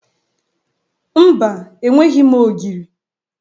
Mba, enweghi m ogiri.